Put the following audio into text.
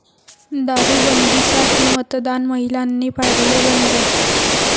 दारूबंदीसाठी मतदान महिलांनी पाडले बंद